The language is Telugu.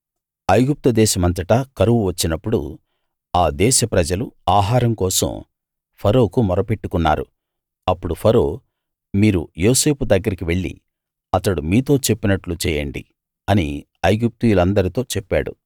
ఐగుప్తు దేశమంతటా కరువు వచ్చినప్పుడు ఆ దేశప్రజలు ఆహారం కోసం ఫరోకు మొరపెట్టుకున్నారు అప్పుడు ఫరో మీరు యోసేపు దగ్గరికి వెళ్ళి అతడు మీతో చెప్పినట్లు చేయండి అని ఐగుప్తీయులందరితో చెప్పాడు